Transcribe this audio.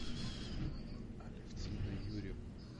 алевтина юрьевна